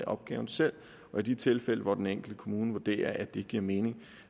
opgaven selv og i de tilfælde hvor den enkelte kommune vurderer at det giver mening